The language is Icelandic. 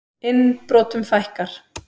Innbrotum fækkar